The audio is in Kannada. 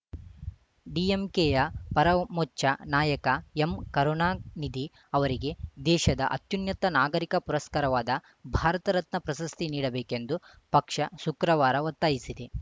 ಡಿಎಂಕೆಯ ಪರಮೋಚ್ಚ ನಾಯಕ ಎಂಕರುಣಾನಿಧಿ ಅವರಿಗೆ ದೇಶದ ಅತ್ಯುನ್ನತ ನಾಗರಿಕ ಪುರಸ್ಕಾರವಾದ ಭಾರತರತ್ನ ಪ್ರಶಸ್ತಿ ನೀಡಬೇಕೆಂದು ಪಕ್ಷ ಶುಕ್ರವಾರ ಒತ್ತಾಯಿಸಿದೆ